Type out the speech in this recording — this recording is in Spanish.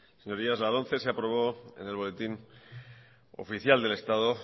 señorías la lomce se aprobó en el boletín oficial del estado